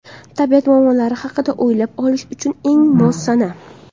Tabiat muammolari haqida o‘ylab olish uchun eng mos sana.